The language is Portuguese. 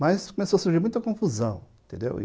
Mas começou a surgir muita confusão, entendeu?